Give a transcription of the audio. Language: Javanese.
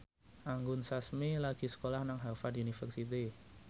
Anggun Sasmi lagi sekolah nang Harvard university